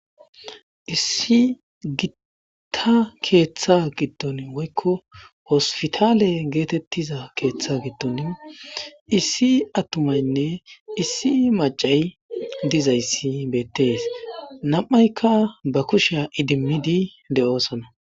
issi gitta keeththa giddon woykko hospitaale geetettiza keeththa giddon issi attumaynne issi macay dizayssi beettees nam7aykka ba kushiya idimmidi de7osana